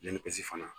Yanni kɔsi fana